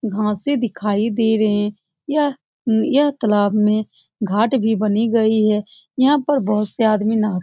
घासे से दिखाई दे रहे हैं यह यह तालाब में घाट भी बनी गई है। यहां पे बहुत से आदमी नहा --